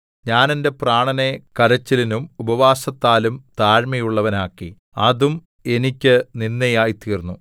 ഞാൻ എന്റെ പ്രാണനെ കരച്ചിലലും ഉപവാസത്താലും താഴ്മയുള്ളവനാക്കി അതും എനിക്ക് നിന്ദയായി തീർന്നു